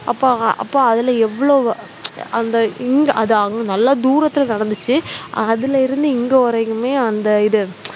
அப்ப அ அப்ப அதுல எவ்வளவு அந்த இங் அது அங்க நல்லா தூரத்தில நடந்துச்சு அதுல இருந்து இங்க வரைக்குமே அந்த இது